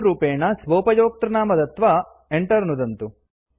सु रूपेण स्वोपयोक्तृनाम दत्वा enter नुदन्तु